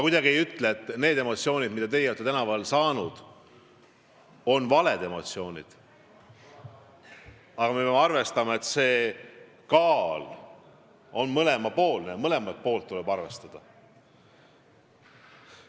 Ma ei ütle, et need emotsioonid, mida teie olete tänaval kogenud, on valed emotsioonid, aga me peame arvestama, et kaaludel on kaks kaussi ja mõlemat poolt tuleb arvestada.